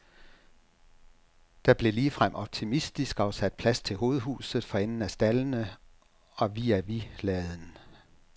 Der blev ligefrem optimistisk afsat plads til hovedhuset for enden af staldene og vis a vis laden.